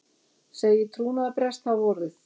Segir trúnaðarbrest hafa orðið